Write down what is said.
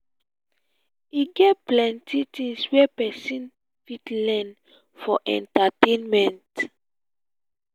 e get plenty tins wey pesin fit learn for entertainment.